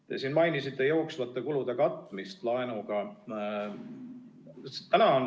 Te siin mainisite jooksvate kulude katmist laenuga.